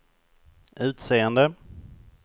utseende